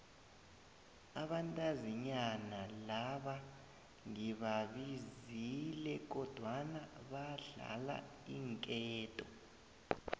abantazinyana laba ngibabizile kodwana badlala iinketo